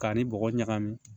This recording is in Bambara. K'a ni bɔgɔ ɲagami